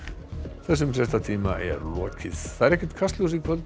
þessum fréttatíma er lokið ekkert Kastljós í kvöld